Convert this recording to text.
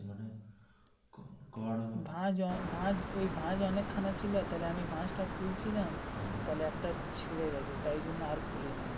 ভাঁজ ভাঁজ ওই ভাঁজ অনেক খানা ছিল তাহলে আমি ভাঁজটা খুলছিলিয়াম একটা ছিড়ে গাছে তাই আর খুলিনি.